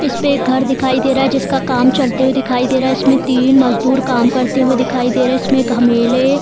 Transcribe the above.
इसपे एक घर दिखाई दे रहा है जिसका काम चलते हुए दिखाए दे रहा है। इसमें तीन मजदूर काम करते हुए दिखाए दे रहें हैं। इसमें घमेले --